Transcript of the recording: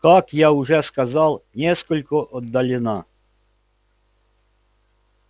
как я уже сказал несколько отдалена